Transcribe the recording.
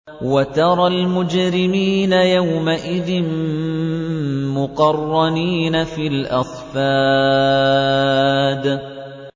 وَتَرَى الْمُجْرِمِينَ يَوْمَئِذٍ مُّقَرَّنِينَ فِي الْأَصْفَادِ